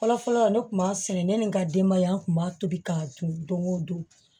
Fɔlɔ fɔlɔ ne tun b'a sɛnɛ ne ni n ka denbaya tun b'a tobi k'a dun don o don